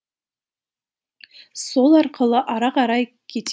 сол арқылы ары қарай кете